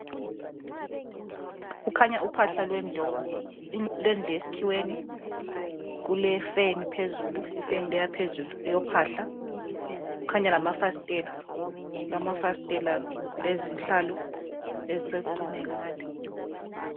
kukhanya uphahla lwendlu yesikhiweni kule fan phezulu i fan le eyaphezulu eyophahla kukhanya lamafasiteli amafasitela lezihlalo ezisekucineni ngale